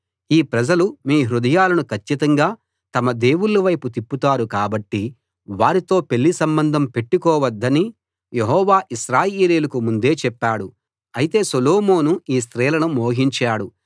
ఈ ప్రజలు మీ హృదయాలను కచ్చితంగా తమ దేవుళ్ళవైపు తిప్పుతారు కాబట్టి వారితో పెళ్లి సంబంధం పెట్టుకోవద్దని యెహోవా ఇశ్రాయేలీయులకు ముందే చెప్పాడు అయితే సొలోమోను ఈ స్త్రీలను మోహించాడు